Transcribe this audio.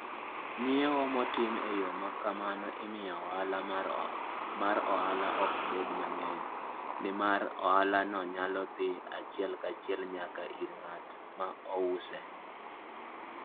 Ng'iewo motim e yo ma kamano miyo ohala mar ohala ok bed mang'eny, nimar ohalano nyalo dhi achiel kachiel nyaka ir ng'at ma ouse.